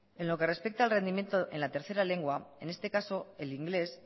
en lo que respecta al rendimiento en la tercera lengua en este caso el inglés